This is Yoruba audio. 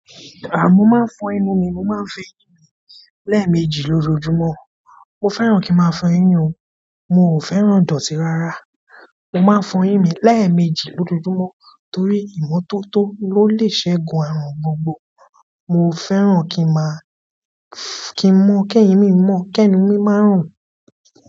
Rárá, mo máa ń fọ ẹnu mi, mo máa ń fọ eyín mí lẹ́ẹ̀mejì lójoojúmọ́. Mo fẹ́ràn kí ń máa fọyín o, mo ò fẹ́ràn ìdọ̀tí rárá. Mo máa ń fọ̀ eyín mí lẹ́ẹ̀mejì lójoojúmọ́ torí ìmọ́tótó ló lè ṣẹ́gun àrùn gbogbo. Mo fẹ́ràn kí ń má kí ń mún kí ẹ̀yin mi mọ̀, kí ẹnu mi má rùn.